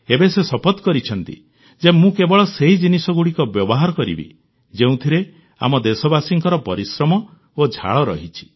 ଏବେ ସେ ଶପଥ କରିଛନ୍ତି ଯେ ମୁଁ କେବଳ ସେହି ଜିନିଷଗୁଡ଼ିକ ବ୍ୟବହାର କରିବି ଯେଉଁଥିରେ ଆମ ଦେଶବାସୀଙ୍କ ପରିଶ୍ରମ ଏବଂ ଝାଳ ରହିଛି